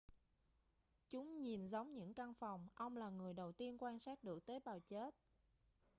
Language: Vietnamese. chúng nhìn giống những căn phòng ông là người đầu tiên quan sát được tế bào chết